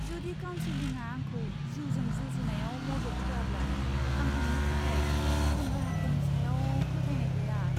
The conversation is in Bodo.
जुदि काउनसिलिंआ आंखौ जिउजों जुजिनायाव मदद होआब्ला आं हामनो थाखाय गुबुन राहाफोरनि सायाव फोथायनाय गैया।